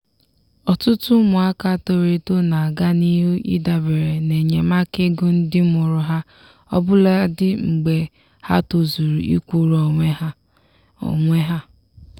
ọtụtụ ụmụaka toro eto na aga n'ihu idabere n'enyemaka ego ndị mụrụ ha ọbụladi mgbe ha tozuru ịkwụrụ onwe ha. onwe ha.